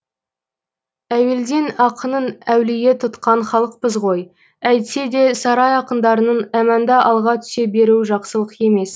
әуелден ақынын әулие тұтқан халықпыз ғой әйтсе де сарай ақындарының әманда алға түсе беруі жақсылық емес